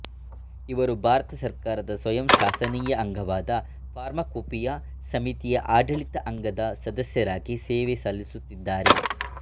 ಇವರು ಭಾರತ ಸರ್ಕಾರದ ಸ್ವಯಂ ಶಾಸನೀಯ ಅಂಗವಾದ ಫಾರ್ಮಾಕೊಪಿಯಾ ಸಮಿತಿಯ ಆಡಳಿತ ಅಂಗದ ಸದಸ್ಯರಾಗಿ ಸೇವೆ ಸಲ್ಲಿಸುತ್ತಿದ್ದಾರೆ